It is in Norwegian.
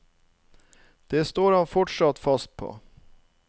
Det står han fortsatt fast på.